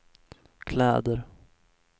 kläder